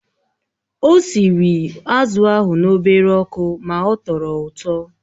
Ọ sịrị azụ̀ ahụ n'obere ọkụ ma ọ tọrọ ụtọ